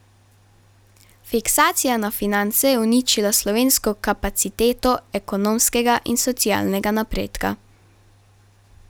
Fiksacija na finance je uničila slovensko kapaciteto ekonomskega in socialnega napredka.